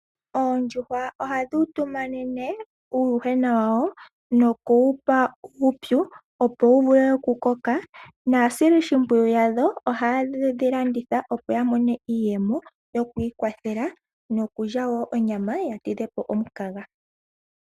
Oondjuhwa ohadhi utumanene uuwuhwena wawo nokuwapa uupyu opo wuvule okukoka, nasili shipwiyu yadho oha yedhilanditha opo yamone iiyemo yokwikwathela nokulya wo onyama yatidhepo omunkanga.